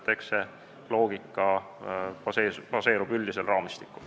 See loogika baseerub üldisel raamistikul.